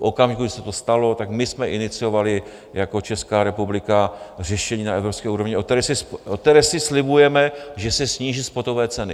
V okamžiku, kdy se to stalo, tak my jsme iniciovali jako Česká republika řešení na evropské úrovni, o kterého si slibujeme, že se sníží spotové ceny.